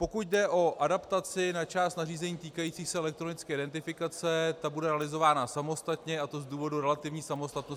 Pokud jde o adaptaci na část nařízení týkajících se elektronické identifikace, ta bude realizována samostatně, a to z důvodu relativní samostatnosti -